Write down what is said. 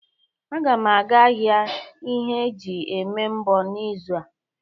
Agam aga ahia ihe e ji eme mbọ n'izu a.